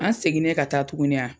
An seginnen ka taa tuguni a